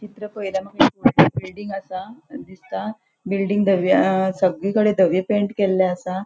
चित्र पळयल्यार माका एक वोडले बिल्डिंग असा दिसता. बिल्डिंग दवि सगळीकडे धवे पैंट केल्ले असा.